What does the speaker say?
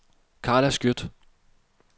Karla Skjødt